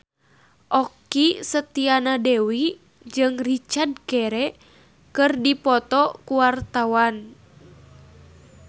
Okky Setiana Dewi jeung Richard Gere keur dipoto ku wartawan